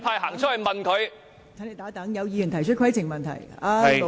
陳志全議員，請稍停，有議員提出規程問題。